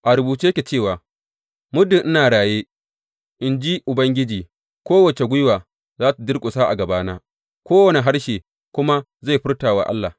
A rubuce yake cewa, Muddin ina raye,’ in ji Ubangiji, kowace gwiwa za tă durƙusa a gabana; kowane harshe kuma zai furta wa Allah.’